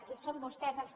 i són vostès els que